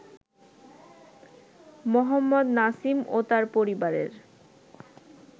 মোহাম্মদ নাসিম ও তার পরিবারের